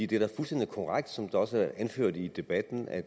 det er da fuldstændig korrekt som det også er anført i debatten at